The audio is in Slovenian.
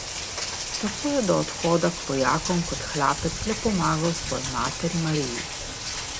Tako je do odhoda k vojakom kot hlapec le pomagal svoji materi Mariji.